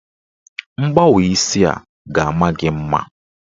Mkpawa isi a ga-ama gị mma.